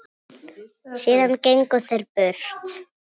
Síðan gengu þeir burt.